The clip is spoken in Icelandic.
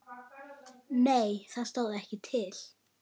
Nei það stóð ekki til.